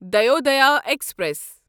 Dayodaya express